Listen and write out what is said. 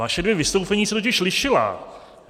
Vaše dvě vystoupení se totiž lišila.